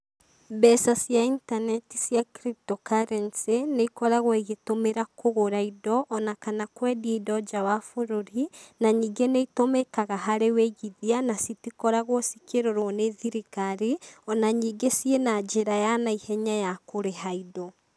Mbeca cia intaneti cia cryptocurrency, nĩ ikoragwo igĩtũmĩra kũgũra indo ona kana kwendi indo nja wa bũrũri, na ningĩ nĩ itũmĩkaga harĩ wĩigithia na citikoragwo cikĩrorwo nĩ thirikari, ona ningĩ ciĩ na njĩra ya naihenya ya kũrĩha indo.